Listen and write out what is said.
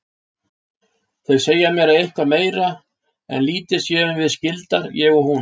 Þau segja mér að eitthvað meira en lítið séum við skyldar ég og hún.